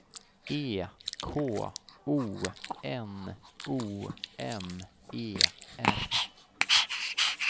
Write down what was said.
E K O N O M E R